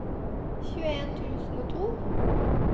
tjueen tusen og to